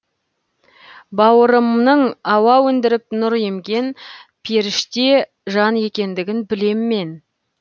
бауырымның ауа өндіріп нұр емген періште жан екендігін білем мен